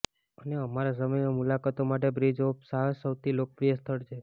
અને અમારા સમયમાં મુલાકાતો માટે બ્રિજ ઓફ સાહ્સ સૌથી લોકપ્રિય સ્થળ છે